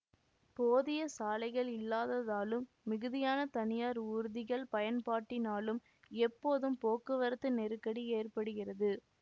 போதிய சாலைகள் இல்லாததாலும் மிகுதியான தனியார் ஊர்திகள் பயன்பாட்டினாலும் எப்போதும் போக்குவரத்து நெருக்கடி ஏற்படுகிறது